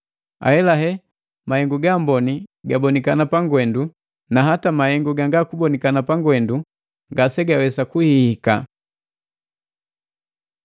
Ahelahe, mahengu gaamboni gabonikana pangwendu, na hata mahengu gangakubonikana pangwendu ngasegawesa kuhihika.